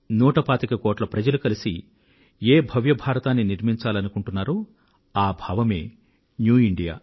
నూట పాతిక కోట్ల మంది ప్రజలు కలసి ఏ భవ్య భారతాన్ని నిర్మించాలనుకుంటున్నారో ఆ భావమే న్యూ ఇండియా